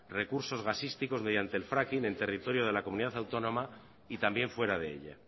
recursos gasísticos mediante el fracking en el territorio de la comunidad autónoma y también fuera de ella